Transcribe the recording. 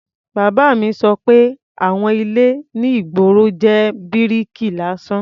Bàbá mi sọ pé àwon ilé ní ìgboro jẹ́ bíríkì lásán.